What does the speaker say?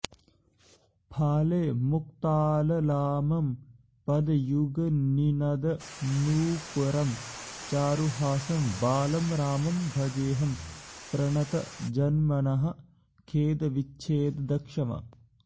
फाले मुक्ताललामं पदयुगनिनदन्नूपरं चारुहासं बालं रामं भजेऽहं प्रणतजनमनःखेदविच्छेददक्षम्